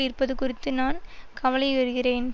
இருப்பது குறித்து நான் கவலையுறுகிறேன்